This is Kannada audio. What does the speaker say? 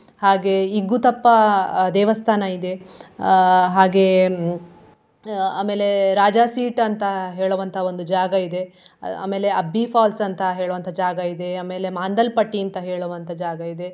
ಹಾಗೆ ಇಗ್ಗುತಪ್ಪಾ ಅಹ್ ದೇವಸ್ಥಾನ ಇದೆ ಅಹ್ ಹಾಗೆ ಆಮೇಲೆ ರಾಜಾಸೀಟ್ ಅಂತ ಹೇಳುವಂತ ಒಂದು ಜಾಗಯಿದೆ. ಆಮೇಲೆ Abbi falls ಅಂತಾ ಹೇಳೋವಂತ ಜಾಗಯಿದೆ ಆಮೇಲೆ ಮಾಂದಲ್ ಪಟ್ಟಿ ಅಂತ ಹೇಳೋವಂತ ಜಾಗಯಿದೆ.